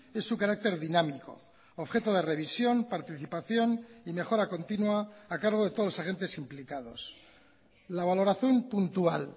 es su carácter dinámico objeto de revisión participación y mejora continua a cargo de todos los agentes implicados la valoración puntual